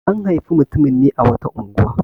An haifi mutumin ne a wata unguwa.